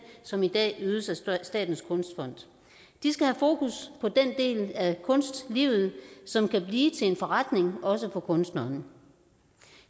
som i dag ydes af statens kunstfond de skal have fokus på den del af kunstlivet som kan blive til en forretning også for kunstneren